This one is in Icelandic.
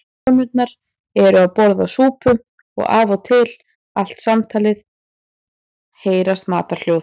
Konurnar eru að borða súpu og af og til allt samtalið heyrast matarhljóð.